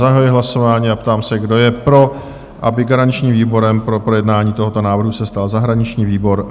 Zahajuji hlasování a ptám se, kdo je pro, aby garančním výborem pro projednání tohoto návrhu se stal zahraniční výbor?